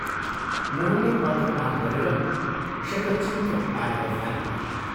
मोहनले पत्र पाठ गरेर शतछिन्त्र पारेर फालिदियो।